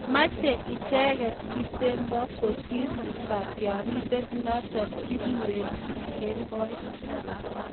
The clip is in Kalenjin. Meche icheket kipsebwo kosir katyarindet notok kikuree Kipkemboi